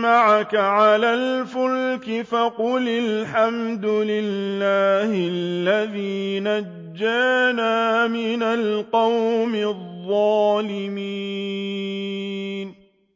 مَّعَكَ عَلَى الْفُلْكِ فَقُلِ الْحَمْدُ لِلَّهِ الَّذِي نَجَّانَا مِنَ الْقَوْمِ الظَّالِمِينَ